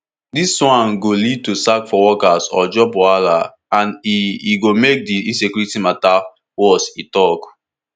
dis one go lead to sack for workers or job wahala and e e go make di insecurity mata worse e tok